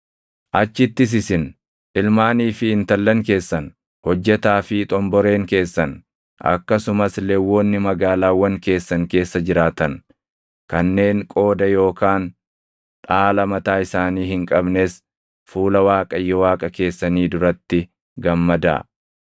Achittis isin, ilmaanii fi intallan keessan, hojjetaa fi xomboreen keessan, akkasumas Lewwonni magaalaawwan keessan keessa jiraatan kanneen qooda yookaan dhaala mataa isaanii hin qabnes fuula Waaqayyo Waaqa keessanii duratti gammadaa.